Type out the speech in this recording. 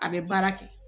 A bɛ baara kɛ